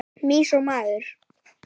Mýs og maður.